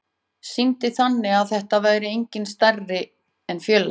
Sýndi þannig að það væri enginn stærri en félagið.